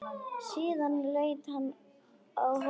Síðan leit hann á hópinn.